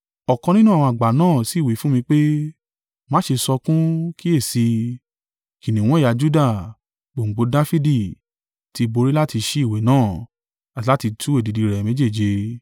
Ọ̀kan nínú àwọn àgbà náà sì wí fún mi pé, “Má ṣe sọkún: kíyèsi i, kìnnìún ẹ̀yà Juda, Gbòǹgbò Dafidi, tí borí láti ṣí ìwé náà, àti láti tú èdìdì rẹ̀ méjèèje.”